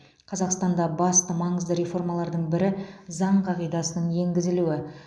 қазақстанда басты маңызды реформалардың бірі заң қағидасының енгізілуі